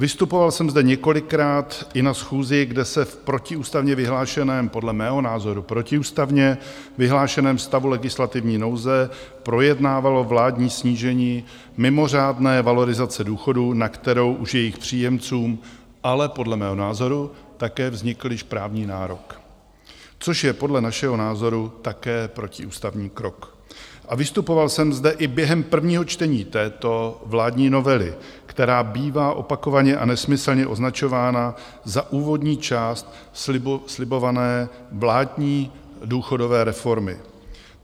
Vystupoval jsem zde několikrát i na schůzi, kde se v protiústavně vyhlášeném, podle mého názoru protiústavně vyhlášeném stavu legislativní nouze projednávalo vládní snížení mimořádné valorizace důchodů, na kterou už jejich příjemcům ale podle mého názoru také vznikl již právní nárok, což je podle našeho názoru také protiústavní krok, a vystupoval jsem zde i během prvního čtení této vládní novely, která bývá opakovaně a nesmyslně označována za úvodní část slibované vládní důchodové reformy.